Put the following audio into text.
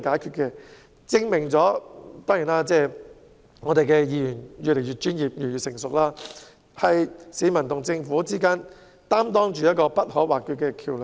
這證明區議員越來越專業，也越來越成熟，是市民與政府之間不可或缺的橋樑。